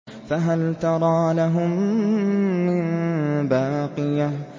فَهَلْ تَرَىٰ لَهُم مِّن بَاقِيَةٍ